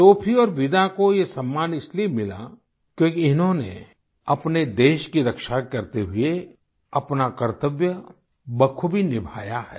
Sophie और विदा को ये सम्मान इसलिए मिला क्योंकि इन्होंने अपने देश की रक्षा करते हुए अपना कर्तव्य बखूबी निभाया है